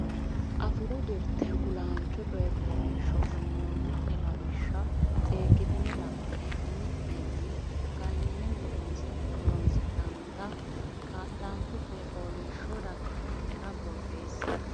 Afuu Jirte Kulaancho Coy fooliishsho uynoonni lawishsha seekkitine la ine umi nenni ganyine horonsi nannita kilaancho coy fooliishsho daftari nera borreesse.